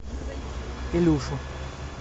илюшу